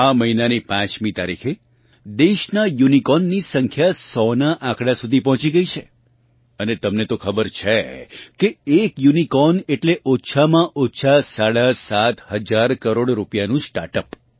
આ મહિનાની પાંચમી તારીખે દેશમાં યુનિકોર્નની સંખ્યા 100 નાં આંકડાં સુધી પહોંચી ગઈ છે અને તમને તો ખબર જ છે કે એક યુનિકોર્ન એટલે ઓછામાં ઓછા સાડા સાત હજાર કરોડ રૂપિયાનું સ્ટાર્ટ અપ